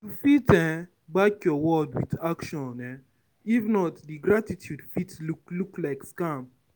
you fit um back your words with action um if not di gratitude fit look look like scam